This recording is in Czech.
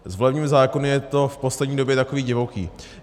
S volebními zákony je to v poslední době takové divoké.